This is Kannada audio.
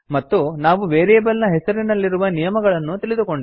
ಮತ್ತು ನಾವು ವೇರಿಯೇಬಲ್ ನ ಹೆಸರಿನಲ್ಲಿರುವ ನಿಯಮಗಳನ್ನೂ ತಿಳಿದುಕೊಂಡೆವು